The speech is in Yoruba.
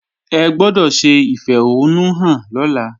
Ẹ gbọ́dọ̀ ṣe ìfẹ̀hónúhàn lọ́la!